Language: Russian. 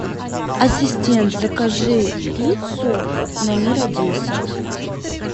ассистент закажи пиццу на мира десять